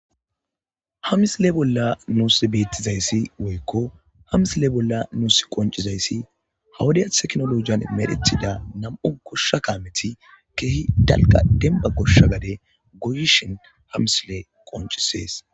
hamisile bolla nuus beettizayssi woykko ha misile bolla nuus qoncizayssi ha wodya teknologiyan medethida nam'u goshsha kaameti kehi dalqa denba goshsha gade goyishin ha misiley qoncisees